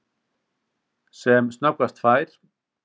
Sem snöggvast fær